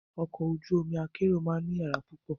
Ọkọ̀ ojú omi akérò máa ní yàrá púpọ̀.